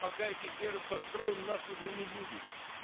пока эти фермы построим нас уже не будет